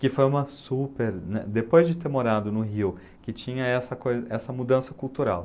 Que foi uma super, né... Depois de ter morado no Rio, que tinha essa coi essa mudança cultural.